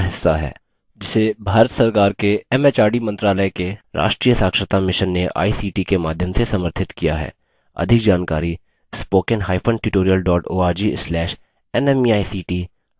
spoken tutorial talktoa teacher project का हिस्सा है जिसे भारत सरकार के एमएचआरडी मंत्रालय के राष्ट्रीय साक्षरता mission ने a सी टी ict के माध्यम से समर्थित किया है